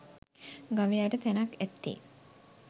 ගවයාට තැනක් ඇත්තේ